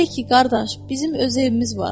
Deyərik ki, qardaş, bizim öz evimiz var.